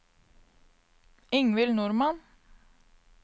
Ingvild Normann